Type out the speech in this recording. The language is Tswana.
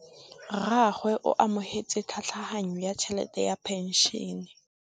Rragwe o amogetse tlhatlhaganyô ya tšhelête ya phenšene.